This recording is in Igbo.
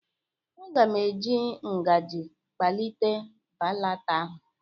M ga-eji ngaji kpalite baata ahụ.